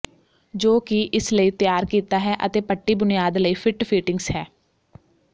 ਜੋ ਕਿ ਇਸ ਲਈ ਤਿਆਰ ਕੀਤਾ ਹੈ ਅਤੇ ਪੱਟੀ ਬੁਨਿਆਦ ਲਈ ਫਿੱਟ ਫਿਟਿੰਗਸ ਹੈ